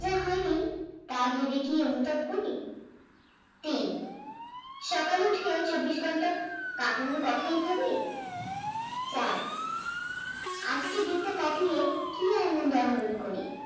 তা ভেবে কি অনুতাপ করি? তিন, সকালে উঠে চব্বিশ ঘন্টা কাটানোর কথাই ভাবি? চার, আজকের দিনটা কাটিয়ে উদাহরণ করি